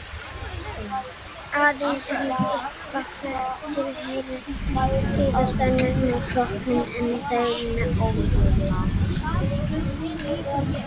aðeins einn ættbálkur tilheyrir síðastnefnda flokknum en það eru nefdýr